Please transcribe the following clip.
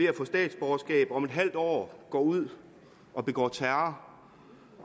at få statsborgerskab om et halvt år går ud og begår terror